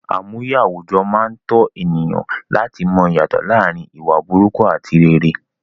Àmúye àwùjọ máa n tọ̀ ènìyàn láti mọ ìyàtọ̀ láàrin ìwà burúkú ati rere